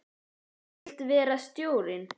Þú vilt vera stjórinn?